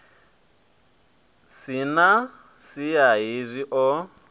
si na siya hezwi o